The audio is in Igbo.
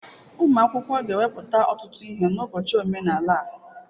Ụmụ akwụkwọ ga-ewepụta ọtụtụ ihe n'ụbọchị omenala a.